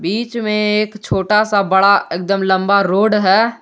बीच में एक छोटा सा बड़ा एकदम लंबा रोड है।